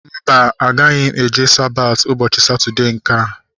Mba, agaghị eje Sabati ụbọchị Satọdee nkea